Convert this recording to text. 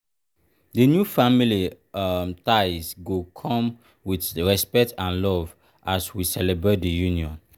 the new family um ties go come with respect and love as we celebrate di union.